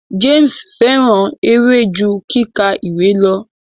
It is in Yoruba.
James fẹràn eré ju kíkà ìwé lọ.